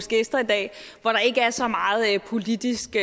gæster i dag hvor der ikke er så meget politisk